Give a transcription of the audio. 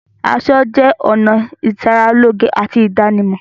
Aṣọ jẹ́ ọ̀nà ìṣaralóge àti ìdánimọ̀.